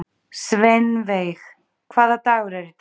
Sveinveig, hvaða dagur er í dag?